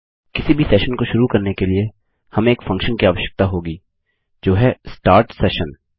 किसी भी सेशन को शुरू करने के लिए हमें एक फंक्शन की आवश्यकता होगी जो है स्टार्ट सेशन